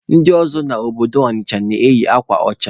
Ndị ọzọ obodo Ọnịcha na-eyi akwa ọcha.